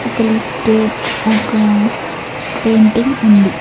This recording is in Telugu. ఒక లిఫ్టు ఒక పెయింటింగ్ ఉంది.